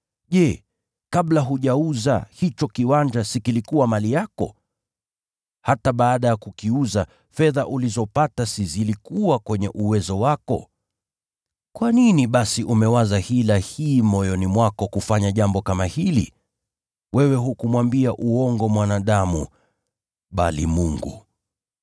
Je, kabla hujauza hicho kiwanja si kilikuwa mali yako? Hata baada ya kukiuza, fedha ulizopata si zilikuwa kwenye uwezo wako? Kwa nini basi umewaza hila hii moyoni mwako kufanya jambo kama hili? Wewe hukumwambia uongo mwanadamu bali Mungu.”